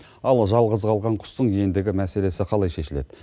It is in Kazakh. ал жалғыз қалған құстың ендігі мәселесі қалай шешіледі